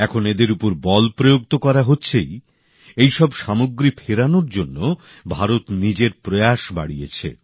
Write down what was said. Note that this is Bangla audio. এখন এদের উপর বল প্রয়োগ তো করা হচ্ছেই এইসব সামগ্রী ফেরানোর জন্য ভারত নিজের প্রয়াস বাড়িয়েছে